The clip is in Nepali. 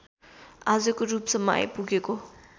आजको रूपसम्म आइपुगेको